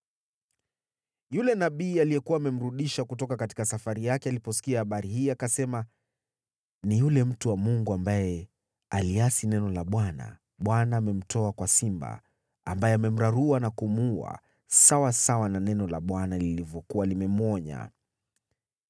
Yule nabii aliyekuwa amemrudisha kutoka safari yake aliposikia habari hii akasema, “Ni yule mtu wa Mungu ambaye aliasi neno la Bwana . Bwana amemtoa kwa simba, ambaye amemrarua na kumuua, sawasawa na neno la Bwana lilivyokuwa limemwonya.”